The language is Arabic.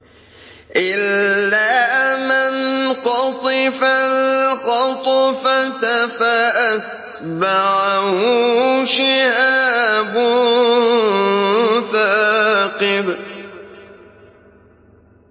إِلَّا مَنْ خَطِفَ الْخَطْفَةَ فَأَتْبَعَهُ شِهَابٌ ثَاقِبٌ